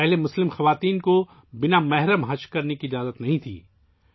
اس سے قبل مسلم خواتین کو محرم کے بغیر حج کرنے کی اجازت نہیں تھی